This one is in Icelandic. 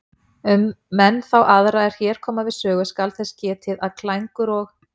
Um menn þá aðra er hér koma við sögu skal þess getið að Klængur og